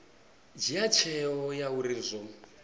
dzhia tsheo ya uri zwo